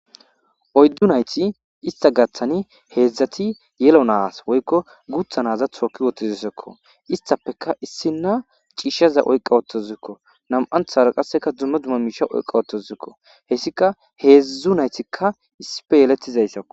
oyddu nayti ista gaththani heedzdzati yelo naas woykko gutha naza tooki wotizisekko istappeka issina ciishshaza oyqa wottozikko nam7anthara qasseka dumma dzumma miisha oyqa ottozikko heyssika heedzdzu naytikka issipe yeletizayssakko